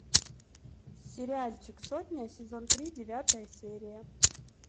сериальчик сотня сезон три девятая серия